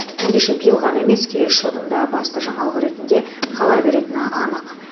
ендеше биыл ғана емес келесі жылдың да басты жаңалығы ретінде қала беретіні анық